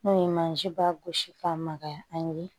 N'o ye mansin ba gosi k'a magaya an ye